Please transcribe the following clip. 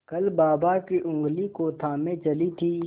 कल बाबा की ऊँगली को थामे चली थी